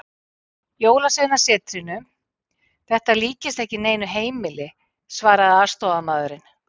Jólasveinasetrinu, þetta líkist ekki neinu heimili, svaraði aðstoðarmaðurinn.